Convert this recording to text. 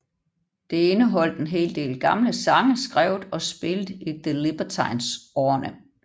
Det indeholdt en del gamle sange skrevet og spillet i The Libertines årene